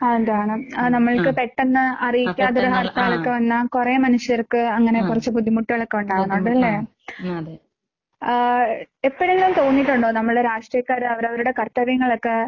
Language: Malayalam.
അതാണ്. അത് നമ്മൾക്ക് പെട്ടെന്ന് അറിയിക്കാതെ ഒരു ഹർത്താലൊക്കെ വന്നാ കൊറേ മനുഷ്യർക്ക് അങ്ങനെ കൊറച്ച് ബുദ്ധിമുട്ടുകളൊക്കെ ഉണ്ടാകും, അതല്ലേ? ആഹ് എപ്പഴെങ്കിലും തോന്നിയിട്ടുണ്ടോ നമ്മൾടെ രാഷ്ട്രീയക്കാര് അവര് അവരുടെ കർത്തവ്യങ്ങള് ഒക്കെ